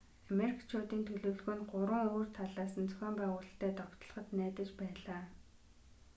амеркчуудын төлөвлөгөө нь 3 өөр талаас нь зохион байгуулалттай довтлоход найдаж байлаа